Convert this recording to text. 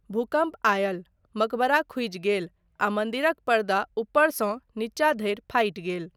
भूकम्प आयल, मकबरा खुजि गेल आ मन्दिरक पर्दा ऊपरसँ नीचा धरि फाटि गेल।